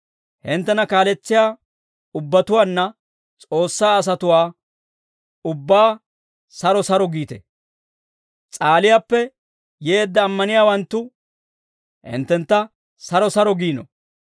Hinttena kaaletsiyaa ubbatuwaanne S'oossaa asatuwaa ubbaa saro saro giite. S'aaliyaappe yeedda ammaniyaawanttu hinttentta saro saro giino.